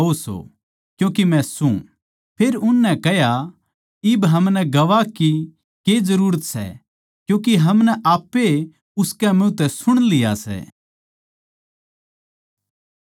फेर उननै कह्या इब हमनै गवाह की के जरूरत सै क्यूँके हमनै आप्पे उसकै मुँह तै सुण लिया सै